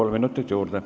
Kolm minutit juurde.